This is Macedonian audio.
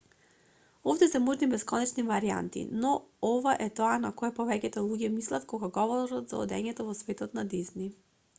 овде се можни бесконечни варијанти но ова е тоа на кое повеќето луѓе мислат кога говорат за одењето во светот на дизни